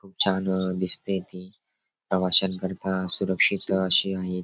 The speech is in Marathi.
खूप छान दिसतय ते प्रवाशांकरिता सुरक्षित अशी आहेत.